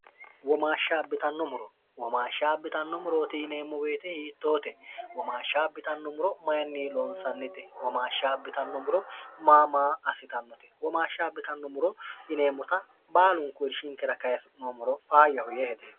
womaashshaabbitannu muro womaashsha bitanno murooti yineemmo beete hiittoote womaashshabbitannumuro mayinni loonsannite womaashshaabbitannumuro maamaa assitannote womaashsha abbitannumuro yineemmota baalunku irshinkira kayinoomoro faayyahu yee hede